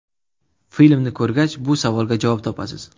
Filmni ko‘rgach bu savolga javob topasiz.